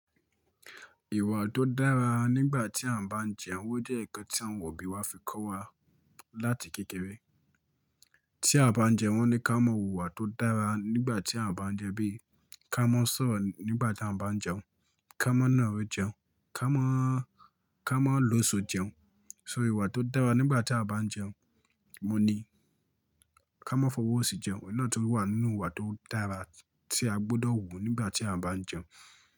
Ìwà tó dára nígbà tí à ń bá jẹun oo jẹ́ ǹkan tí àwọn òbí wa fi kọ́ wa láti kékeré. Tí a bá jẹun wọ́n ní ká mọ wu ìwà tó dára nígbà tí à ń bá jẹun bí i ká mọ sọ̀rọ̀ nígbà tí à ń bá jẹun, ká mọ náà ro jẹun, ká mọ, ká mọ lo so jẹun. So ìwà tó dára nígbà tí a bá jẹun, mo ní ká mọ fi ọwọ́ sí jẹun, ìnáà tó wà nínú ìwà tó dára tí a gbọ́dọ̀ wùú nígbà tí a bá ń jẹun.